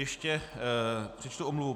Ještě přečtu omluvu.